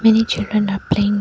Many children are playing.